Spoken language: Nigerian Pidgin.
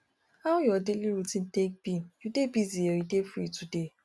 how your daily routine take be you dey busy or you dey free today